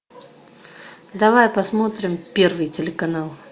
давай посмотрим первый телеканал